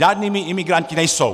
Žádnými imigranty nejsou.